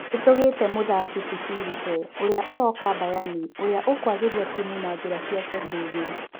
Nĩ-tũgĩte mũthaki ti-Filipe ũrĩa ũroka Bayani ũrĩa ũkũagĩria timu na-njĩra ciake ndũgĩru.